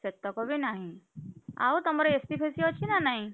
ସେତକ ବି ନାହିଁ, ଆଉ ତମର AC ଫେଷି ଅଛି ନା ନାହିଁ?